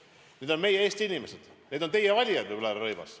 Need on meie Eesti inimesed, need on teie valijad ju, härra Rõivas.